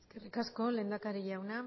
eskerrik asko lehendakari jauna